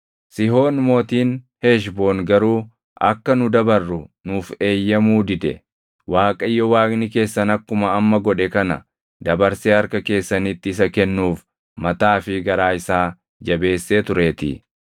Sihoon mootiin Heshboon garuu akka nu dabarru nuuf eeyyamuu dide. Waaqayyo Waaqni keessan akkuma amma godhe kana dabarsee harka keessanitti isa kennuuf mataa fi garaa isaa jabeessee tureetii.